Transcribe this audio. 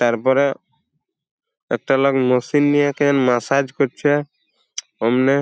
তার পরে একটা লোক মেশিন নিয়ে কে ম্যাসাজ করছে অমনি--